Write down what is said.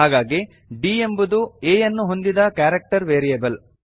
ಹಾಗಾಗಿ d ಎಂಬುದು A ಯನ್ನು ಹೊಂದಿದ ಕಾರಕ್ಟರ್ ವೇರಿಯೇಬಲ್